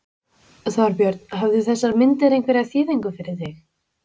Þorbjörn: Höfðu þessar myndir einhverja þýðingu fyrir þig?